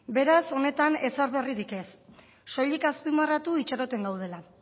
beraz honetan ezer berririk ez soilik azpimarratu itxaroten gaudela